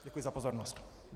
Děkuji za pozornost.